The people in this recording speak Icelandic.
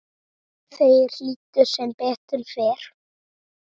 Þeir hlýddu, sem betur fer